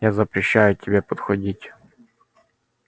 я запрещаю тебе подходить